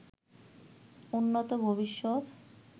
উন্নত ভবিষ্যৎ